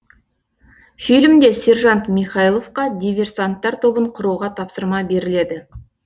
фильмде сержант михайловқа диверсанттар тобын құруға тапсырма беріледі